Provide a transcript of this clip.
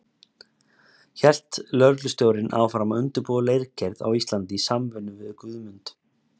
Hélt lögreglustjórinn áfram að undirbúa leirgerð á Íslandi í samvinnu við Guðmund.